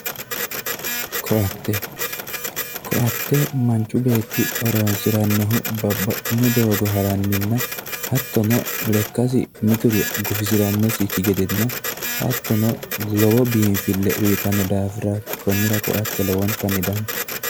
Koatte, koatte manchi beetti horonsiranohu babbaxino doogo ha'ranninna hattono lekkasi mitiri gufisiranosikki gedenna hattono lowo biinfile uyittanohurati konnira koatte lowontanni danchate.